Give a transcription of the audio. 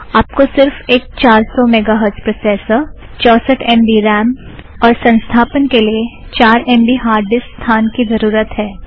आप को सिर्फ़ एक चार सौ मेगाहर्ड़ज़ प्रोसेसर चौंसट एम बी रॅम और संस्थपना के लिए चार एम बी हार्ड़ ड़िस्क स्थान की ज़रुरत है